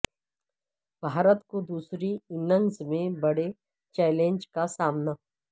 بھارت کو دوسری اننگز میں بڑے چیلنج کا سامنا